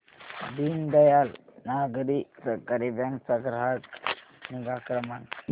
Deendayal Nagari Sahakari bank चा ग्राहक निगा क्रमांक